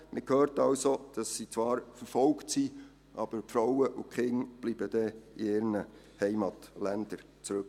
Man hört somit, dass sie zwar verfolgt sind, aber die Frauen und Kinder bleiben in ihren Heimatländern zurück.